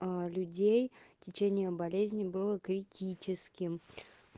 людей в течение болезни было критическим